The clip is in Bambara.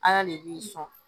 Ala de b'i sɔn